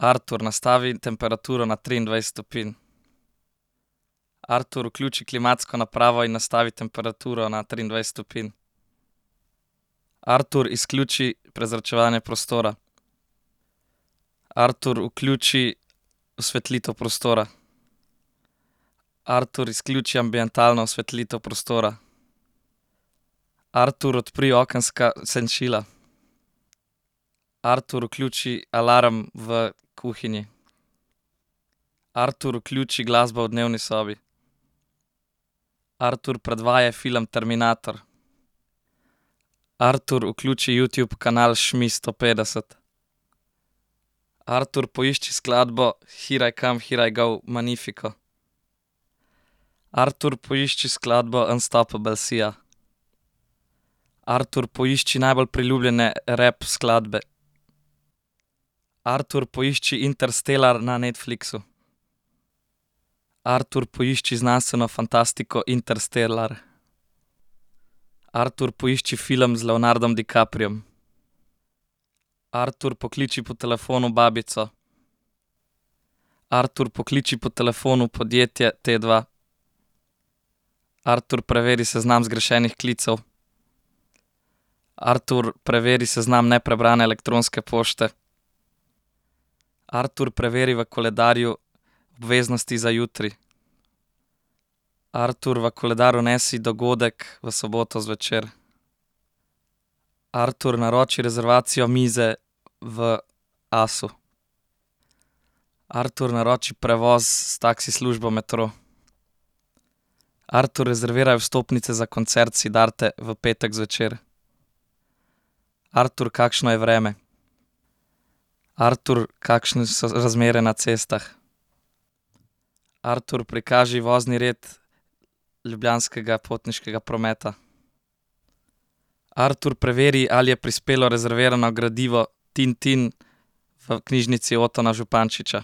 Artur, nastavi temperaturo na triindvajset stopinj. Artur, vključi klimatsko napravo in nastavi temperaturo na triindvajset stopinj. Artur, izključi prezračevanje prostora. Artur, vključi osvetlitev prostora. Artur, izključi ambientalno osvetlitev prostora. Artur, odpri okenska senčila. Artur, vključi alarm v kuhinji. Artur, vključi glasbo v dnevni sobi. Artur, predvajaj film Terminator. Artur, vključi Youtube kanal Šmis sto petdeset. Artur, poišči skladbo Hir aj kam hir aj gou Magnifico. Artur, poišči skladbo Unstoppable Sia. Artur, poišči najbolj priljubljene rap skladbe. Artur, poišči Interstellar na Netflixu. Artur, poišči znanstveno fantastiko Interstellar. Artur, poišči film z Leonardom DiCapriom. Artur, pokliči po telefonu babico. Artur, pokliči po telefonu podjetje Tdva. Artur, preveri seznam zgrešenih klicev. Artur, preveri seznam neprebrane elektronske pošte. Artur, preveri v koledarju obveznosti za jutri. Artur, v koledar vnesi dogodek v soboto zvečer. Artur, naroči rezervacijo mize v Asu. Artur, naroči prevoz s taksi službo Metro. Artur, rezerviraj vstopnice za koncert Siddharte v petek zvečer. Artur, kakšno je vreme? Artur, kakšne so razmere na cestah? Artur, prikaži vozni red Ljubljanskega potniškega prometa. Artur, preveri, ali je prispelo rezervirano gradivo Tin Tin v Knjižnici Otona Zupančiča.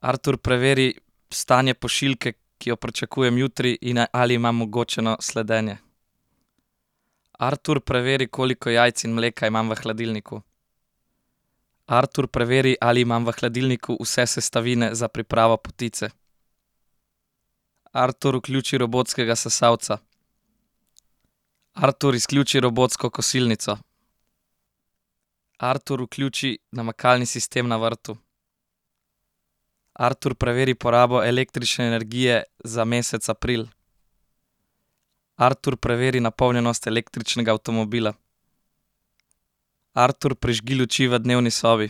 Artur, preveri stanje pošiljke, ki jo pričakujem jutri, in ali ima omogočeno sledenje. Artur, preveri, koliko jajc in mleka imam v hladilniku. Artur, preveri, ali imam v hladilniku vse sestavine za pripravo potice. Artur, vključi robotskega sesalca. Artur, izključi robotsko kosilnico. Artur, vključi namakalni sistem na vrtu. Artur, preveri porabo električne energije za mesec april. Artur, preveri napolnjenost električnega avtomobila. Artur, prižgi luči v dnevni sobi.